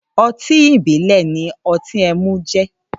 Ótin ibilẹ̀ ni ọtin ẹmu jẹ̀